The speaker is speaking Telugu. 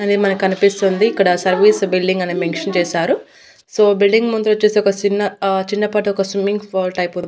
అది మనకనిపిస్తుంది ఇక్కడ సర్వీస్ బిల్డింగ్ అనే మెంక్షన్ చేశారు సో బిల్డింగ్ ముందు వచ్చేసి ఒక సిన్న ఆ చిన్న పాటి స్విమ్మింగ్ ఫాల్ టైప్ --